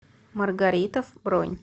маргаритовъ бронь